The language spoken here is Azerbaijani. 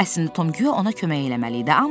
Əslində Tom güya ona kömək eləməli idi,